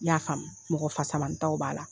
I y'a faamu, mɔgɔ fasamanitaw b'a la.